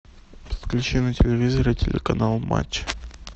включи на телевизоре телеканал матч